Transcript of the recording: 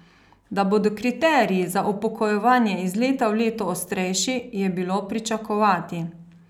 Da bodo kriteriji za upokojevanje iz leta v leto ostrejši, je bilo pričakovati.